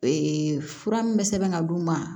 Ee fura min bɛ sɛbɛn ka d'u ma